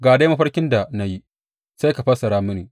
Ga dai mafarkin da na yi, sai ka fassara mini.